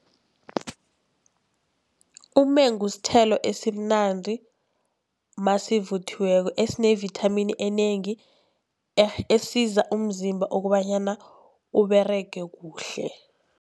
Umengu sithelo esimnandi nasivuthiweko, esinevithamini enengi esiza umzimba kobanyana Uberege kuhle.